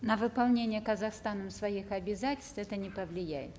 на выполнение казахстаном своих обязательств это не повлияет